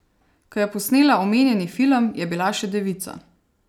Ko je posnela omenjeni film, je bila še devica.